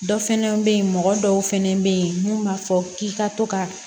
Dɔ fɛnɛ be yen mɔgɔ dɔw fɛnɛ be yen mun b'a fɔ k'i ka to ka